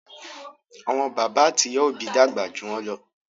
Àwọn bàbá àti ìyá òbí dàgbà jù wọn ló.